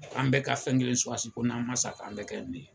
An bɛɛ ka fɛn kelen suwasi ko n'an man sa k'an bɛ kɛ nin ye.